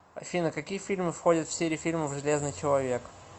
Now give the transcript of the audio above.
афина какие фильмы входят в серию фильмов железныи человек